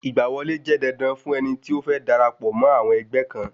Ìgbà wọlé jẹ́ dandan fún ẹni tí ó fẹ́ darapọ̀ mọ́ àwọn ẹgbẹ́ kan